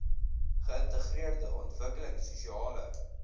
geïntegreerde ontwikkelings sosiale